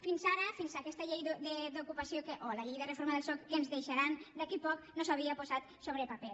fins ara fins aquesta llei d’ocupació o la llei de reforma del soc que ens deixaran d’aquí a poc no s’havia posat sobre paper